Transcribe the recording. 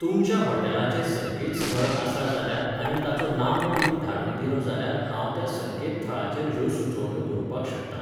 तुमच्या हाॅटेलाचें संकेत स्थळ आसा जाल्यार आनी ताचो नामो तुमी धाडून दिलो जाल्यार हांव त्या संकेतथळाचेर ह्यो सुचोवण्यो बरोवपाक शकतां